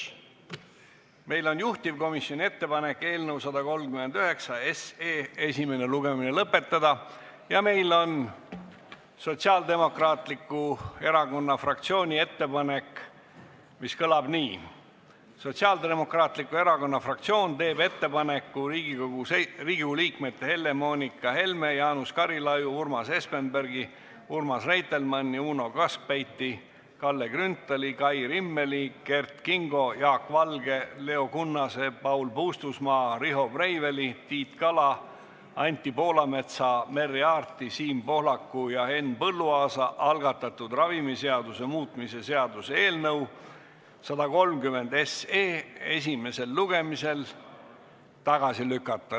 Meil on juhtivkomisjoni ettepanek eelnõu 139 esimene lugemine lõpetada ja meil on Sotsiaaldemokraatliku Erakonna fraktsiooni ettepanek, mis kõlab nii: "Sotsiaaldemokraatliku Erakonna fraktsioon teeb ettepaneku Riigikogu liikmete Helle-Moonika Helme, Jaanus Karilaiu, Urmas Espenbergi, Urmas Reitelmanni, Uno Kaskpeiti, Kalle Grünthali, Kai Rimmeli, Kert Kingo, Jaak Valge, Leo Kunnase, Paul Puustusmaa, Riho Breiveli, Tiit Kala, Anti Poolametsa, Merry Aarti, Siim Pohlaku ja Henn Põlluaasa algatatud ravimiseaduse muutmise seaduse eelnõu esimesel lugemisel tagasi lükata.